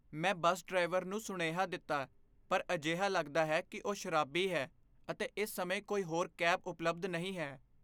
ਮੈਂ bus driver ਨੂੰ ਸੁਨੇਹਾ ਦਿੱਤਾ ਪਰ ਅਜਿਹਾ ਲਗਦਾ ਹੈ ਕਿ ਉਹ ਸ਼ਰਾਬੀ ਹੈ ਅਤੇ ਇਸ ਸਮੇਂ ਕੋਈ ਹੋਰ ਕੈਬ ਉਪਲਬਧ ਨਹੀਂ ਹੈ।